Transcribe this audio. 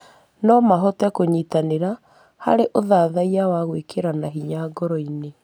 No mahote kũnyitanĩra harĩ ũthathaiya wa gwĩkĩrana hinya ngoro.